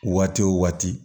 Waati wo waati